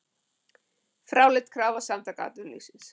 Fráleit krafa Samtaka atvinnulífsins